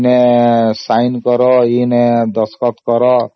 ଏଠି sign କର ସେଠି sign କର ଆଉ ଦସ୍ତଖତ କର